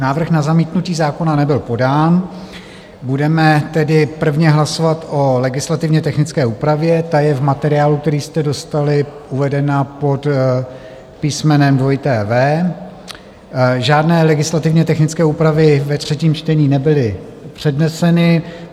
Návrh na zamítnutí zákona nebyl podán, budeme tedy prvně hlasovat o legislativně technické úpravě, ta je v materiálu, který jste dostali, uvedena pod písmenem W. Žádné legislativně technické úpravy ve třetím čtení nebyly předneseny.